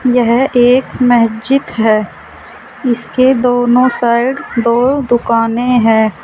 यह एक महजिद है इसके दोनों साइड दो दुकाने है।